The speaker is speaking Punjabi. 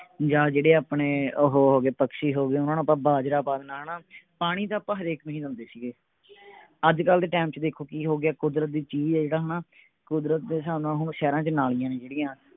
ਜਾ ਜਿਹੜੇ ਆਪਣੇ ਓਹੋ ਹੋਗੇ ਪਕ੍ਸ਼ੀ ਹੋਗੇ ਓਹਨਾ ਨੂੰ ਆਪਾਂ ਬਾਜਰਾ ਪਾ ਦੇਣਾ ਹਣਾ ਪਾਣੀ ਤਾਂ ਆਪਾਂ ਹਰੇਕ ਨੂੰ ਹੀ ਦਿੰਦੇ ਸੀਗੇ ਅੱਜਕਲ ਦੇ ਟੈਮ ਚ ਦੇਖੋ ਕਿ ਹੋ ਗਿਆ ਹੈ ਕੁਦਰਤ ਦੀ ਚੀਜ ਹੈ ਜਿਹੜਾ ਹਣਾ ਕੁਦਰਤ ਦੇ ਹਿਸਾਬ ਨਾਲ ਹੁਣ ਸ਼ਹਿਰਾਂ ਚ ਨਾਲੀਆਂ ਨੇ ਜਿਹੜੀਆਂ